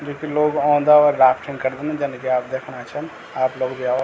जुकी लोग औंदा और राफ्टिंग करदन जन की आप देखणा छन आप लोग भी आव।